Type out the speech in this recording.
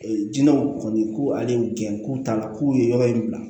jinɛw kɔni ko ale ye gɛn k'u ta k'u ye yɔrɔ in bila